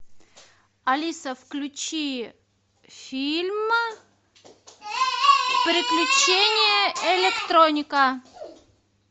алиса включи фильм приключения электроника